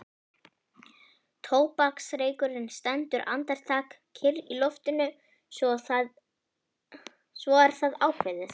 Tóbaksreykurinn stendur andartak kyrr í loftinu svo er það ákveðið.